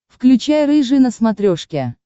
включай рыжий на смотрешке